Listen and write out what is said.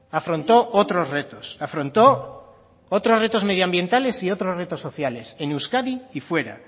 afrontó otros retos afrontó otros retos medioambientales y otros retos sociales en euskadi y fuera